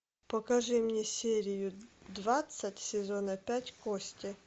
покажи мне серию двадцать сезона пять кости